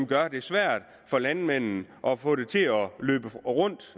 gør det svært for landmanden at få det til at løbe rundt